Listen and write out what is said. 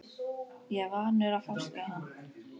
Ég er vanur að fást við hann!